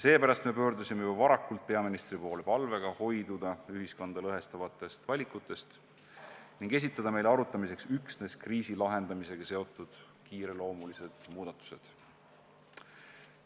Seepärast me pöördusime juba varakult peaministri poole palvega hoiduda ühiskonda lõhestavatest valikutest ning esitada meile arutamiseks üksnes kriisi lahendamisega seotud kiireloomulised muudatused.